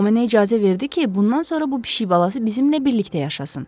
O mənə icazə verdi ki, bundan sonra bu pişik balası bizimlə birlikdə yaşasın.